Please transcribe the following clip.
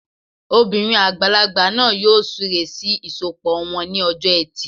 Obìnrin àgbàlagbà náà yóò súre sí ìsọpọ̀ wọn ní ọjọ́ ẹtì